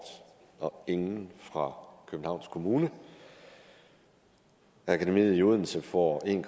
og ingen fra københavns kommune akademiet i odense får en